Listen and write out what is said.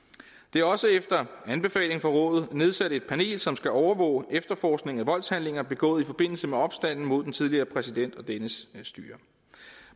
er også efter anbefaling fra rådet nedsat et panel som skal overvåge efterforskning af voldshandlinger begået i forbindelse med opstanden mod den tidligere præsident og dennes styre